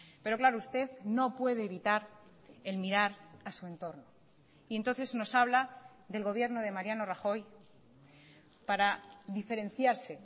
pero claro usted no puede evitar el mirar a su entorno y entonces nos habla del gobierno de mariano rajoy para diferenciarse